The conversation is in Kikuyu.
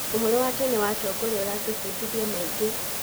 Ũhoro wa tene wa atongoria ũratũbundithia maingĩ.